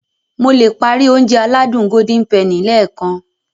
Mo le páári Ounjẹ aládùn Golden penny lẹ́ẹ̀kan